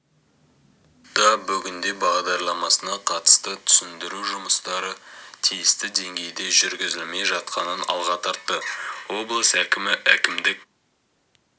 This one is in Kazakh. да бүгінде бағдарламасына қатысты түсіндіру жұмыстары тиісті деңгейде жүргізілмей жатқанын алға тартты облыс әкімі әкімдік